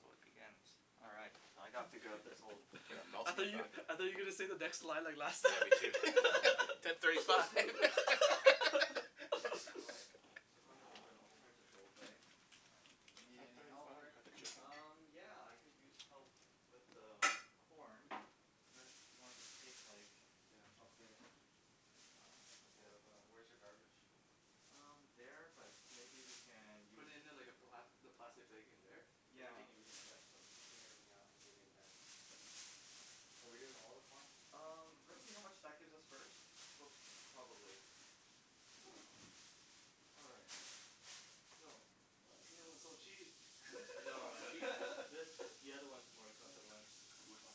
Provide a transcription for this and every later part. So it begins. Alright. So I gotta figure out this whole I gotta mouse I thought on my you, seasoning back. I session. thought you were gonna say the next line or last Yeah line me too ten thirty five. All right. So if I am looking for an alternative to old bay. You need any help Rick? got the chicken. Um yeah I could use help with the corn Sure. and I'll just take like Yeah I'll clean it then. Yeah wh- where's your garbage? Um there, but maybe we can Put use it in like a black, the Yeah plastic bag in there? Cuz we're yeah. taking everything Yeah out so so just take everything out and give me the bag. Are we doing all of the corn? Um let's see how much that gives us first, but probably. All right so. Oh you know it's so cheap. No man this- the other ones are more expensive ones. Like which one?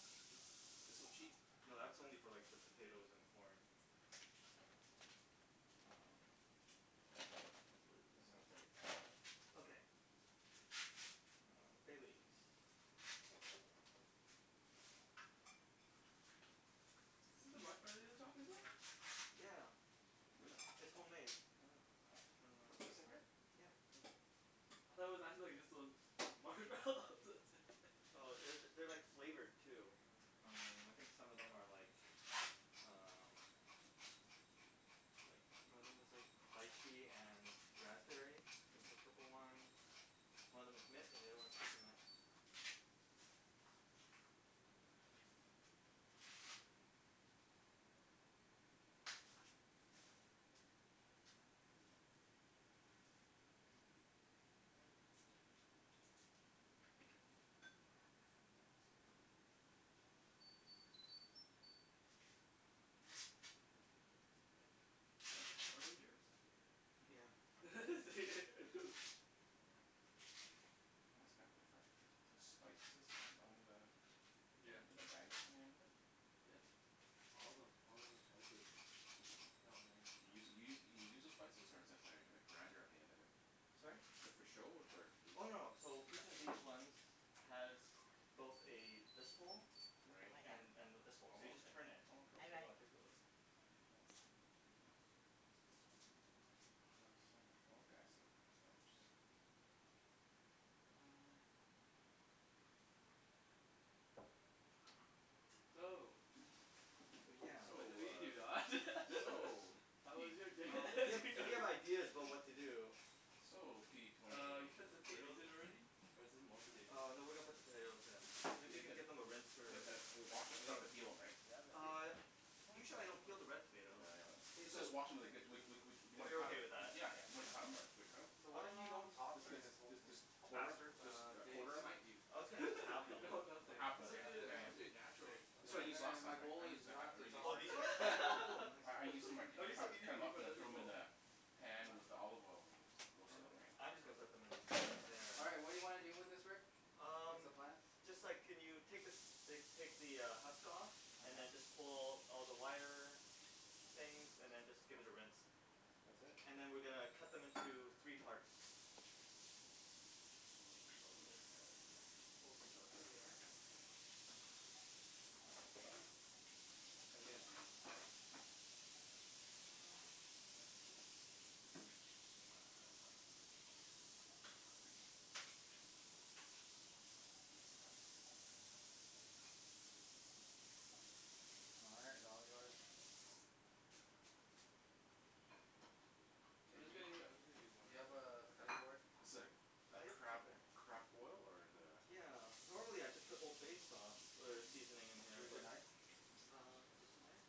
They're so cheap. No that's only for like the potatoes and the corn. Um hopefully we can Seven thirty five Okay um bay leaves Is this the marshmallow you were talking about? Yeah Where? it's- it's homemade. Oh What, this in here? Yeah Hmm I thought it was actually just like those marshmallows Oh that's it it- they're like flavored too. Um I Hmm think some of them are like um like one of them is like lychee and raspberry is the Hmm purple ones, one of them's mint and the other one is coconut. Um let's see Is that Power Ranger's? Yeah is it? Oh that's kinda different. Is this spices on- on the Yeah with the magnets on the end of it? Yep all of them, all of them are spices. They're all You use magnets you you you use the spices or is th- that like a grinder at the end of it? Sorry? Is that for show or for use? Oh no so each of these ones has both a this hole Right and and this hole. So you just turn it. oh okay oh cool. Do you wanna take a look? Yeah Oh ground cinnamon oh okay I see. That's kinda interesting. So, So yeah so So I believe you Don. ah so How Uh was p- your day? if p- you, if you have ideas about what to do. So p twenty Uh you put the two potatoes in already, or is this more potatoes? Uh no we are going to put the potatoes in. Maybe you could give them a rinse or a Okay wash, we don't have scrub. to peel them right? Uh usually I don't peel the red No, potato. yeah I know that. K Let's so just wash em and they're good we- we- we- we If cu- you're okay with , yeah that. Yeah yeah yeah and then cut em or do we cut em? So Should we what cut if we don't Um talk them? during this whole let's jus- thing? just quarter them, faster? jus- Uh just they quarter them? smite you. I was gonna just halve them no or nothing half it's but okay suppose- you yeah it's know yeah supposed to be Nothing? natural. that's what I Okay used then I- last my time right? I goal used is the ha- not or to used Oh talk. these ones? the Oh cool, nice I- I used to cu- cut them up and throw them in the pan with the olive oil and Okay roasted them right. I'm just gonna put them Yeah in- in there. All right what do you wanna do with this Rick? What's Um, the plan? just a sec can you take like take the husk off and then just uh-huh pull all the wire things and then just give it a rinse That's it? and then we are going to cut them into three parts. And I'll just probably Now we gotta cut them here. Um All right they're all yours. Hey do you, do you have a cutting board? I'm sorry a Ah yep, it's crab, right there. crab boil or is it a? Yeah, normally I just put old bay sauce or seasoning in here Where's your but knife? Uh just in here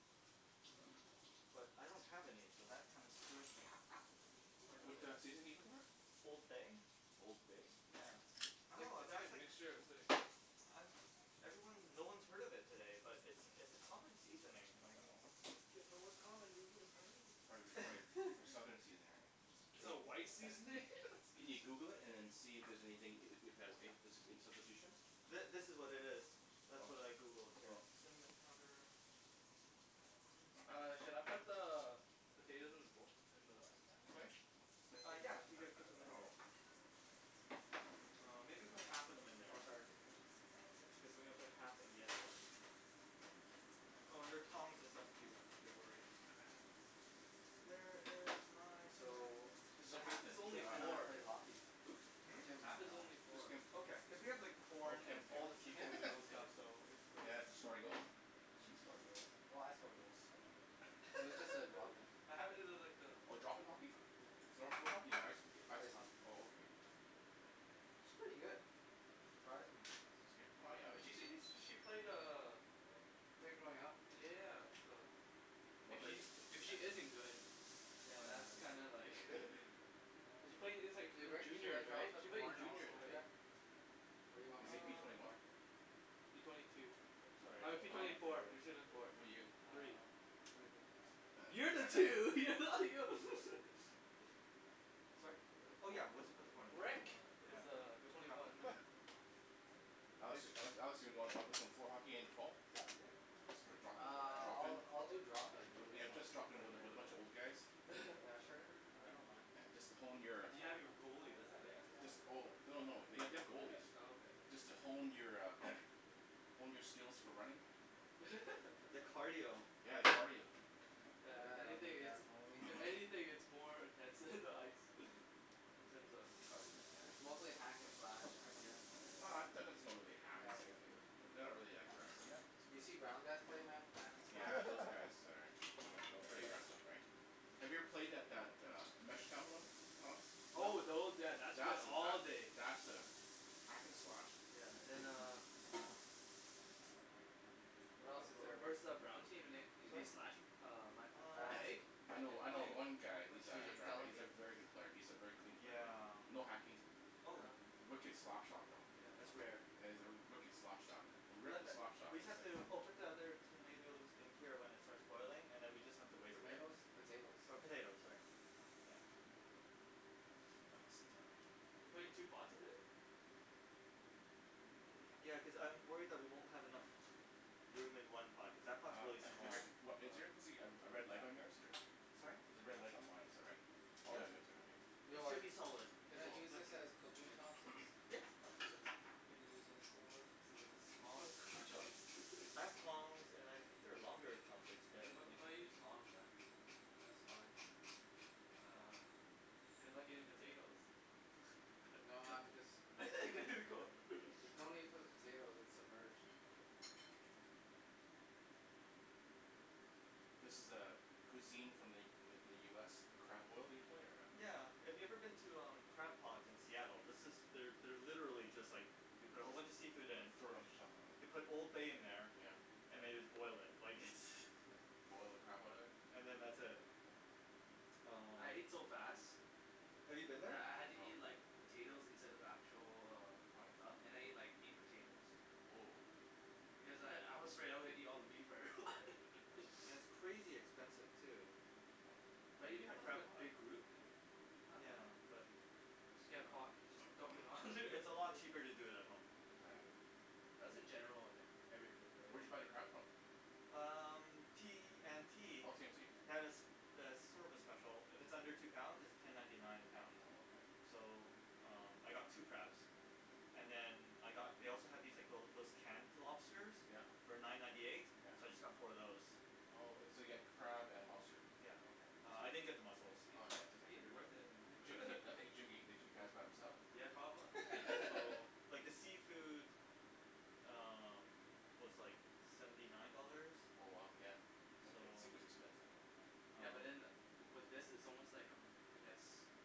I don't have any so that kinda screws me, quite a What bit. a seasoning are you looking for? Old bay Old bay? yeah It's like- oh it's like a that's like, mixture of something. I'm jus- everyone- no one has heard of it today, but it's it's a common seasoning I like know Yeah if it was common we woulda heard of Prob- prolly for it. southern seasoning Is right it a maybe white seasoning? Can you Google it and then see if- if there's anything, if- if there's any substitutions? Th- this is what it is. That's what I Oh Googled here. oh Cinnamon powder Where is my? All right, should I put the potatoes in the bo- in the Sorry? Uh yeah if you could put them in uh here. oh Uh maybe put half of them in there Oh sorry cuz then we'll put half in the other one. Oh there are tongs and stuff if you if you're worried. Where is my cinnamon? So Just a The second half is only Kim yeah and I four, pay hockey Hmm? Hmm? Kim half and is only I Which four. Kim? Okay cuz we have like oh corn Kim and all the Kim Kim seafood Yeah and okay stuff so it's quite a Yeah did she score any goals? She scored goals, well I score goals too but it was just a drop in. What happen to like the Oh drop in hockey? Yeah floor- floor hockey? I- ice hockey ice ice hockey? hockey oh okay She's pretty good, surprised me. She's good well yeah She seems when she played uh Played growing up Yeah so if she if she isn't good Oh then yeah that's then kinda like cuz she played Hey since Rick? Should I juniors drop right? the She played in corn juniors also right? in there? What do you want Is me he to p do with Um the twenty one? corn? P twenty two sorry I I'm mean just P gonna twenty four, after P twenty four What are you? Three um Oh that's right You're the two, you're not Sorry? Oh yeah we'll just put the corn in there Rick yeah is pu- uh Okay we'll put twenty half of one. them in there. Yeah Alex- Alex do wanna pl- play some floor hockey at the end of fall? Just for drop in, Ah drop in? I'll- I'll do drop in Yeah just drop in with a, with a bunch of old guys? Yeah sure I don't mind Just to hone your, But you have your goalie that's the thing. jus- oh, oh no they- they have Oh goalies. okay Just to hone your a, hone your skills for running. The cardio Yeah if Yeah I anything need it's, that honing. if anything it's more intense than the ice, in terms of cardio. It's mostly hack and slash. Yeah Oh it's not really hack. Yeah It's a- wh- but they're not really that aggressive. you seen brown guys play man hack and slash Yeah to those the guys max. are, are pretty aggressive right? Have you ever played that, that a Oh those, yeah that's That's a, days that's a hack and slash. Yeah and then uh What else is there we Rick? versed that brown team and they slashed Mhm uh my Um I'm fast leg I know, I know oh one guy You who's let's a, should see just he's a delegate. very good player, he's a very clean Mm player, yeah? yeah no hacking, oh wicked slap shot though, Yeah that's rare yeah yeah he's a wicked slap shot, a We have wicked to slap shot we just have sayin. to oh put the other hm tomatoes in until it starts boiling then we just have to wait a bit. Tomatoes? Potatoes Or potatoes sorry you know All good Oh I'm gonna sit down. we're putting two pots of it? Ya cuz I'm worried that we won't have enough room in one pot cuz that pots Uh really small. Rick, wha- is there supposed to be a- a red light on yours or? Sorry? There's a red light on mine is that right? Oh yeah Yep you have it too It okay. should Rick be solid. can I Solid use this as cooking chopsticks? Yeah Yeah absolutely Those are like the smallest cooking I have tongs and I think there are longer chopsticks there if You you gotta- you want. gotta use tongs man. That's fine. Uh, they're like potatoes No I'm just mixing it There ya before. go There's no need for the potatoes, it's submerged. This is a- cuisine from the- from the U S crab boil usually or Yeah if you a? have ever been to Crab Pot in Seattle this is, they're literally just like, they put a whole bunch of seafood in, And throw it on the top they put oh old bay in there yeah and they just boil it, like its Just boil the crap out of Hm it? and then that's it yeah Oh um. I ate so fast, Have you been there? that I had to eat No like potatoes instead of actual uh stuff and I Why? ate like eight potatoes Whoa because I- I was afraid I was gonna eat all the meat before everyone. And it's crazy expensive too But when Oh you a- know I at never had, Crab a Pot. big group, uh not Yeah bad. but Just I get a dunno pot and just dump it all in there. It's a lot cheaper to do it at home. Oh yeah That's in general on every food Where'd right? you buy the crab from? Um T&T Oh T&T they have a have a service special, if it's under two pounds it's ten ninety nine a Oh- pound. oh okay Hm So um I got two crabs and then I got they also had these like little those canned lobsters Yep yep for nine ninety eight so I just got four of those. Oh- oh so you got crab and lobster Yep Uh I okay. didn't get the Is muscles. Oh yeah that's he, is okay. he worth it? I think Jim, I think Jim coulda ate the two crabs by himself. Yeah probably So like the seafood um was like seventy nine dollars. Oh wow, yeah So seafood's expensive man. Yeah um but in with this, is almost like a I guess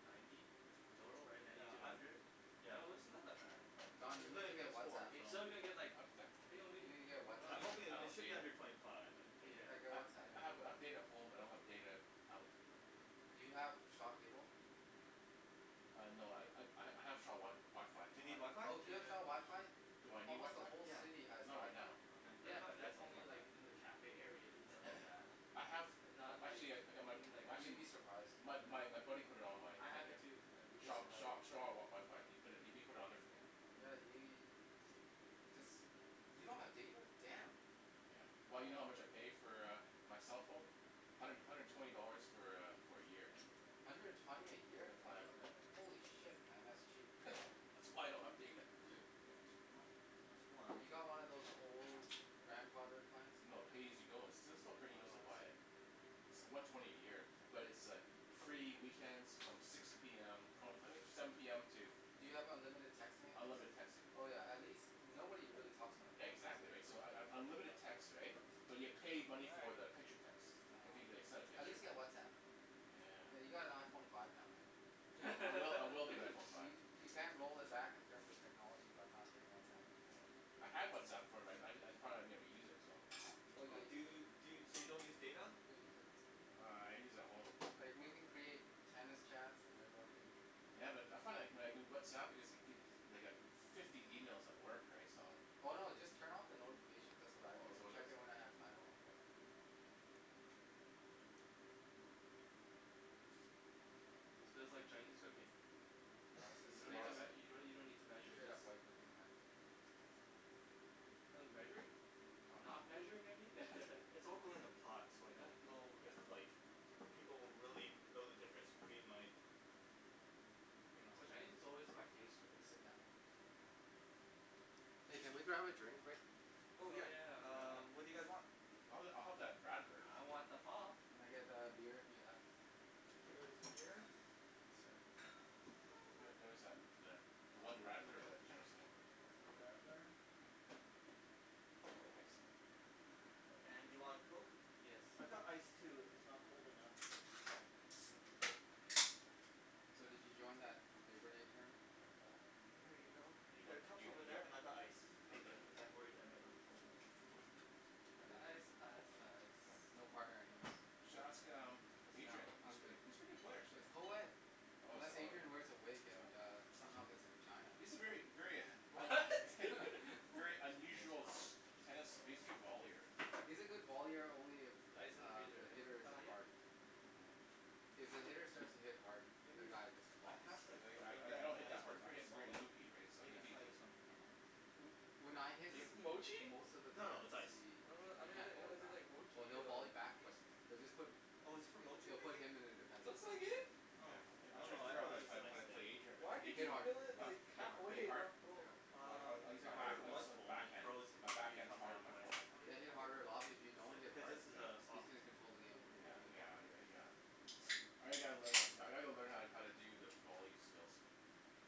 ninety dough right Oh ninety Yeah to a I'm hundred? yeah Although it's not that bad. It's But Don, you a good Oh thing need to I get got four Whatsapp. you so Huh still didn't get like, what was that? I think only You need to get I I'm Whatsapp. hoping don't i- it have should be data. under twenty five I'm thinking. Yeah get I- Yeah Whatsapp I have yeah data at home but I don't have data out. Do you have Shaw cable? Ah no I ha- I have Sha- Shaw WiFi Do you on need there. WiFi? Oh do you have Shaw WiFi? Yeah Do I need Almost the WiFi? whole Yeah city has Not right WiFi. now. okay let Yeah me know if but you guys that's need only in WiFi. like the cafe areas and stuff like that I have, and not like actually I- I got my in like You'd actually be surprised. my my buddy put it on my I have it there too Yeah you'd , be so Shaw- surprised. Shaw WiFi ,he pu- put it on there for me. Yeah we- jus- you don't have data? Damn. Yeah well you know how much I pay for a my cell phone? hundred- hundred and twenty dollars for a for a year. Hundred and twenty a year? The plan Holy shit man that's cheap. That's why I don't have data. No- no Have swearing you got one of those old grandfather plans? No pay as you go it's still- still Oh buy it. I see It's the one twenty a year but it's a free weekends from six p m no I think seven p m to Do you have unlimited texting at least? Unlimited texting Oh yeah at least- nobody really talks on the phone these Exactly days. right so un- unlimited text right, but you pay money for the picture text, Oh if they okay send a At picture. least get Whatsapp. I mean you Yeah got an Iphone five now man. I will I will get an Iphone five. You- you can't roll it back in terms of technology by not getting Whatsapp. Yeah I had Whatsapp before, I- I thought I'd never use it so. Oh you'll Do use it, you, so you don't use data? you'll use it. Uh I use at home. Like we can Okay create tennis chats and everyone who Ya but I, I found when I do Whatsapp I get like fifty emails at work right so I Oh no just turn off the notifications that's what I do Oh is that and what it check is? in when I have time. oh okay. This feels like Chinese cooking No, this is you don't need straight to- up, you don't need to you don't need to measure straight just up white cooking man. Oh measuring? Oh no not measuring I mean yeah mm It's all going in a pot so I don't know if like people will really know the difference between like you know? Well Chinese is always by pace right? Hey can we grab a drink Rick? Oh Oh yeah yeah um what do you guys um Oh want? I'll have I'll have that radler. I want the pop. Can I get a beer if you have? Here is a beer. Here is a radler. Thank you sir Yeah there was tha- that one radler that Jim seen. Here is a radler. Thanks And do you want a coke? Yes I've got ice please too if it's not cold enough. So did you join that labour day tournament? No Here you you- go. There are you cups are over there and I've got ice if Okay cuz I'm worried that might not be cold enough. I didn't ice, ice, ice no, no What? partner anyways. You should ask um No Adrian. I'm good He's a pretty good player actually. it's coed, Oh is- unless oh Adrian wears a wig and yeah. a somehow gets a vagina. He's a very, very What? K, very there's your unusual pop. tennis vollier. He's a good vollier only if Ice is in the uh freezer the right? hitter Ah isn't yep hard. Hmm If the hitter starts to hit hard, the guy just I flops. have like a Really? I- little I- I bag of don't an hit ice that but hard, it's I really hit solid very loopy right so so I'm he- gonna he- try he this one for now. When I hit Is this Motchi? most of the No no times it's ice he I don- um then can't why volley does it say back like or Motchi here he'll on volley back it but they'll just put Oh is this for Motchie they'll do you think? put him in a defense Looks like position. it. Oh, Yeah I- I'm oh trying no fig- I figure thought how- it was just an how ice to pl- thing. play Adrian but Why did Hit Adrian you What? hard, fill it like hit half way hard, hit hit and hard? hard, not full? I- I Um use, hit I think harder it I was use my full and I backhand, froze it my to the better backhand is become harder than half my way. forehand. Then hit harder a lot, but if you don't Cu- hit cuz hard this is a he's soft going to Yeah control the game. on the Yeah Oh bottom. yeah yeah I g- gotta learn, I gotta learn how to- how to do the volley skills.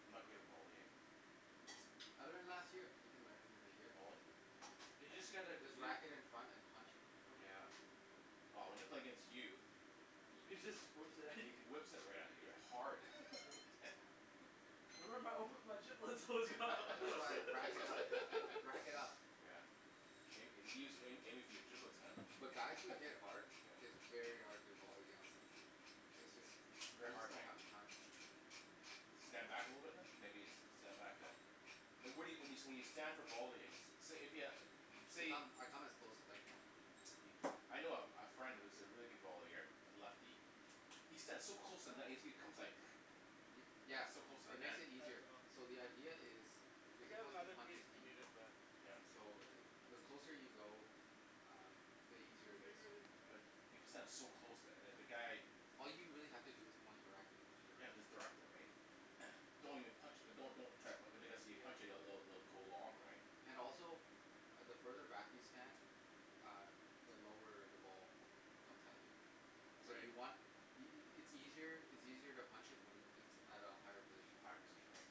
I'm not good at volleying. I learned last year. You can learn in a year. Volley? Yeah You just get like just you whack it in front and punch it. Yeah well when I play against you, He just whips it at he you. whips it right at you hard. Yeah That's why I rack it up, rack it up. Yeah may- maybe he's aiming for your giblets man. But guys that hit Yeah hard, it's very hard to volley against them it;s jus- They're you just hard don't right? have the time. Stand back a little bit then? Maybe stand back yeah Well, what- what you, when you, when you stand for volleying say if you, I say come, I come as close as I can. I know a friend, who's a really good vollier, a lefty. He stands so close to the net he comes like, he's Yeah so close to the it net. makes it easier. So the idea is, you're supposed to punch it deep. Yep So the closer you go, um the easier it is. But, if you stand so close to- if the guy All you really have to do is point your racket and just Yeah direct it. just direct it right? yeah Don't even punch it, don't- don't even try be- cuz if you Yeah punch it- it'll go long right? And also, the further back you stand, um the lower the ball comes at you. So Right you want y- y- it's easier to punch it at a higher position. A higher position right